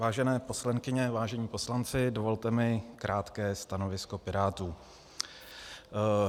Vážené poslankyně, vážení poslanci, dovolte mi krátké stanovisko Pirátů.